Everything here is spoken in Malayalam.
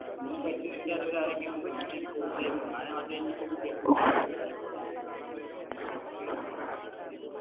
ഇതിനെ പറ്റി നിൻറെ അറിവിൽ ആരെങ്കിലും ഉണ്ടോ ഇങ്ങനെയൊരു Course ഞാനാദ്യമായിറ്റാണിത് കേൾക്കുന്നത്